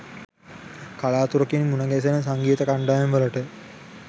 කලාතුරකින් මුණගැසෙන සංගීත කණ්ඩායම්වලට